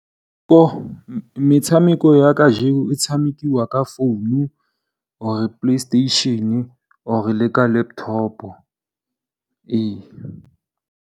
Metshameko ya kajeko e tshamekiwa ka founu or PlayStation or le ka laptop.